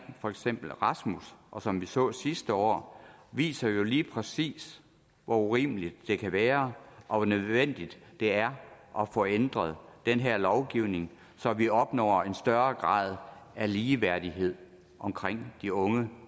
for eksempel rasmus og som vi så sidste år viser jo lige præcis hvor urimeligt det kan være og hvor nødvendigt det er at få ændret den her lovgivning så vi opnår en større grad af ligeværdighed omkring de unge